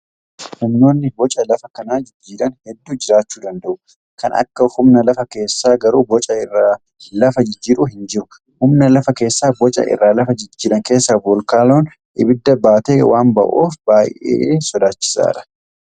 Humnooni boca lafa kanaa jijjiiran hedduu jiraachuj danda'u. Kan akka humna lafa keessaa garuu boca irra lafaa jijjiiru hin jiru. Humna lafa keessaa boca irra lafaa jijjiiran keessaa voolkaanoon ibidda baatee waan ba'uuf baay'ee sodaachisaadha.